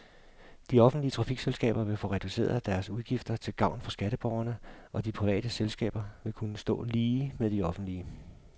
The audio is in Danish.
De offentlige trafikselskaber vil få reduceret deres udgifter til gavn for skatteborgerne, og de private selskaber vil kunne stå lige med de offentlige.